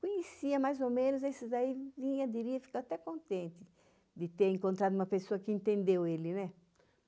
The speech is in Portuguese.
Conhecia, mais ou menos, esses aí, eu diria, fico até contente de ter encontrado uma pessoa que entendeu ele, né?